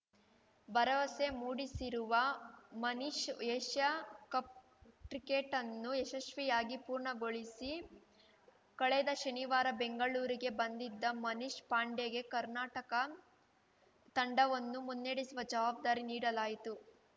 ಭರವಸೆ ಮೂಡಿಸಿರುವ Manish Asia cup ಕ್ರಿಕೆಟ್‌ನ್ನು ಯಶಸ್ವಿಯಾಗಿ ಪೂರ್ಣಗೊಳಿಸಿ ಕಳೆದ ಶನಿವಾರ ಬೆಂಗಳೂರಿಗೆ ಬಂದಿದ್ದ ಮನೀಶ್‌ ಪಾಂಡೆಗೆ ಕರ್ನಾಟಕ ತಂಡವನ್ನು ಮುನ್ನಡೆಸುವ ಜವಾಬ್ದಾರಿ ನೀಡಲಾಯಿತು